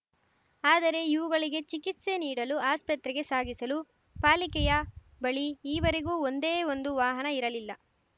ಆದರೆ ಇವುಗಳಿಗೆ ಚಿಕಿತ್ಸೆ ನೀಡಲು ಆಸ್ಪತ್ರೆಗೆ ಸಾಗಿಸಲು ಪಾಲಿಕೆಯ ಬಳಿ ಈವರೆಗೂ ಒಂದೇ ಒಂದು ವಾಹನ ಇರಲಿಲ್ಲ